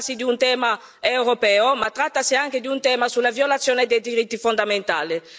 Trattasi di un tema europeo ma trattasi anche di un tema sulla violazione dei diritti fondamentali.